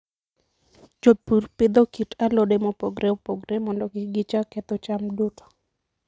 Jopur pidho kit alode mopogore opogore mondo kik gichak ketho cham duto.